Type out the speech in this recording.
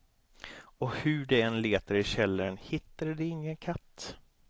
Och hur de än letade i källaren, hittade de ingen katt.